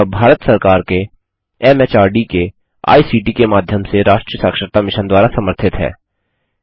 यह भारत सरकार के एमएचआरडी के आईसीटी के माध्यम से राष्ट्रीय साक्षरता मिशन द्वारा समर्थित है